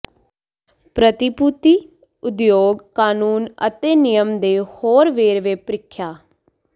ਪ੍ਰਤੀਭੂਤੀ ਉਦਯੋਗ ਕਾਨੂੰਨ ਅਤੇ ਨਿਯਮ ਦੇ ਹੋਰ ਵੇਰਵੇ ਪ੍ਰੀਖਿਆ